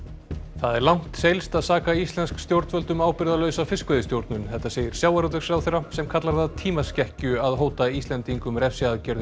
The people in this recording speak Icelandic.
er langt seilst að saka íslensk stjórnvöld um ábyrgðarlausa fiskveiðistjórnun þetta segir sjávarútvegsráðherra sem kallar það tímaskekkju að hóta Íslendingum refsiaðgerðum